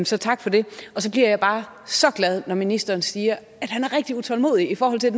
så tak for det og så bliver jeg bare så glad når ministeren siger at han er rigtig utålmodig i forhold til at